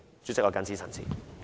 主席，我謹此陳辭。